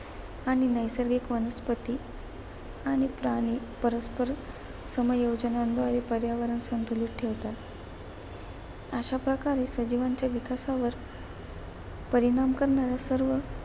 आणि नैसर्गिक वनस्पती आणि प्राणी परस्पर समयोजनामुळे पर्यावरण संतुलित ठेवतात. अशा प्रकारे सजीवांच्या विकासावर परिणाम करणाऱ्या सर्व